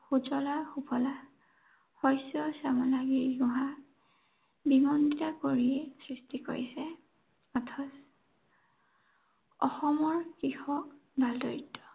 সুঁজলা সুফলা শস্য় শ্য়ামলা, গিৰি গুহা বিনন্দীয়া পৰিৱেশ সৃষ্টি কৰিছে। অথচ অসমৰ কৃষক ডাল-দৰিদ্ৰ।